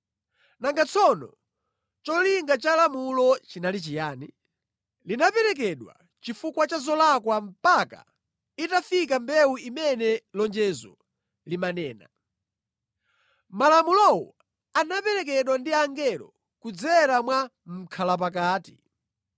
Nanga tsono cholinga cha lamulo chinali chiyani? Linaperekedwa chifukwa cha zolakwa mpaka itafika mbewu imene lonjezo limanena. Malamulowo anaperekedwa ndi angelo kudzera mwa mʼkhalapakati.